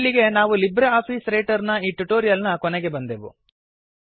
ಇಲ್ಲಿಗೆ ನಾವು LibreOffice Writer ನ ಈ ಟ್ಯುಟೋರಿಯಲ್ ನ ಕೊನೆಗೆ ಬಂದೆವು